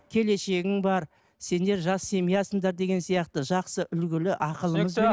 келешегің бар сендер жас семьясыңдар деген сияқты жақсы үлгілі